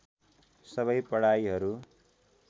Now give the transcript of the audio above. सबै पढाइहरू